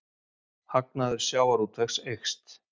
Hagnaður sjávarútvegs eykst